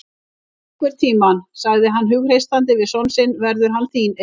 Einhvern tímann, sagði hann hughreystandi við son sinn verður hann þín eign.